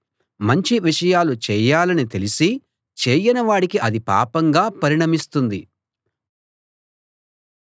మంచి విషయాలు చేయాలని తెలిసీ చేయని వాడికి అది పాపంగా పరిణమిస్తుంది